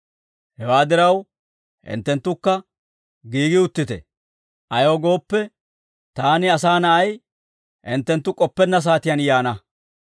Hewaa diraw, hinttenttukka giigi uttite; ayaw gooppe, taani, Asaa Na'ay, hinttenttu k'oppenna saatiyaan yaana.